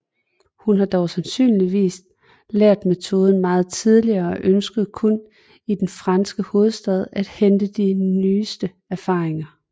Hun har dog sandsynligvis lært metoden meget tidligere og ønskede kun i den franske hovedstad at hente de nyeste erfaringer